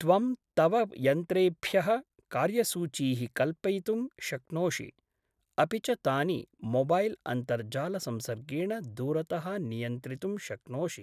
त्वं तव यन्त्रेभ्यः कार्यसूचीः कल्पयितुं शक्नोषि, अपि च तानि मोबैल्अन्तर्जालसंसर्गेण दूरतः नियन्त्रितुं शक्नोषि।